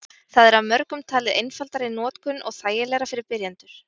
Það er af mörgum talið einfaldara í notkun og þægilegra fyrir byrjendur.